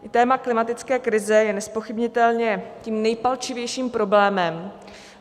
Téma klimatické krize je nezpochybnitelně tím nejpalčivějším problémem.